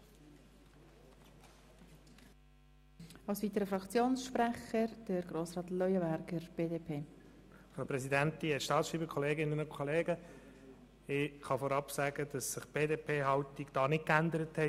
Ich kann vorab festhalten, dass sich die Haltung der BDP-Fraktion in dieser Frage nicht geändert hat.